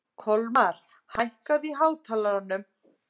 Kolmar, hækkaðu í hátalaranum.